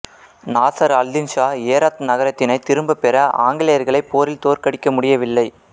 Nasir al Din Shah Herat நகரத்தினைத் திரும்பப் பெற ஆங்கிலேயர்களைப் போரில் தோற்கடிக்க முடியவில்லை